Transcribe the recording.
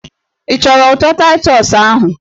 Ị chọrọ ụtọ Taịtọs ahụ?